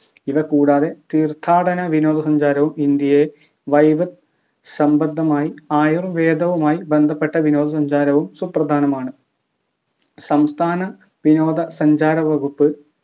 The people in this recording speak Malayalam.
ഇവ കൂടാതെ തീർത്ഥാടന വിനോദ സഞ്ചാരവും ഇന്ത്യയെ വൈദ്യ സംബന്ധമായി ആയുർവേദവുമായി ബന്ധപ്പെട്ട വിനോദ സഞ്ചാരവും സുപ്രധാനമാണ് സംസ്ഥാന വിനോദ സഞ്ചാര വകുപ്പ്